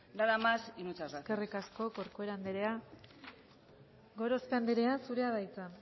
nada más y muchas gracias eskerrik asko corcuera andrea gorospe andrea zurea da hitza